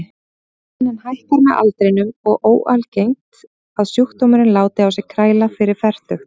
Tíðnin hækkar með aldrinum og er óalgengt að sjúkdómurinn láti á sér kræla fyrir fertugt.